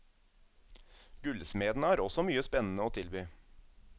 Gullsmedene har også mye spennende å tilby.